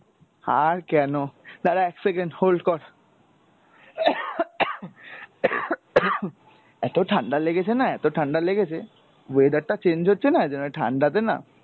আর কেন? দাঁড়া এক second hold কর। এতো ঠাণ্ডা লেগেছে না এতো ঠাণ্ডা লেগেছে, weather টা change হচ্ছেনা ওইজন্য ঠাণ্ডা তে না,